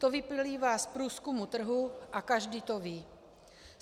To vyplývá z průzkumu trhu a každý to ví.